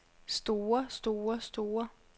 store store store